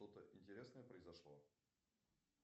что то интересное произошло